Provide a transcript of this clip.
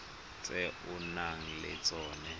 tse o nang le tsona